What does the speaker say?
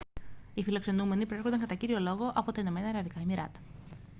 οι φιλοξενούμενοι προέρχονταν κατά κύριο λόγο από τα ηνωμένα αραβικά εμιράτα